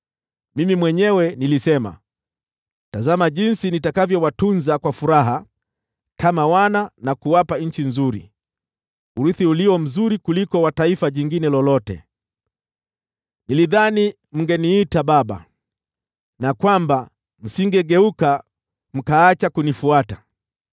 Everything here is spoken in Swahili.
“Mimi mwenyewe nilisema, “ ‘Tazama jinsi nitakavyowatunza kwa furaha kama wana na kuwapa nchi nzuri, urithi ulio mzuri kuliko wa taifa jingine lolote.’ Nilidhani mngeniita ‘Baba,’ na msingegeuka, mkaacha kunifuata.